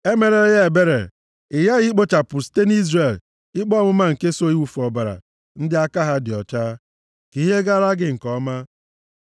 Emerela ya ebere. Ị ghaghị ikpochapụ site nʼIzrel ikpe ọmụma nke so iwufu ọbara ndị aka ha dị ọcha, ka ihe gaara gị nke ọma.